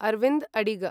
अरविन्द् अडिग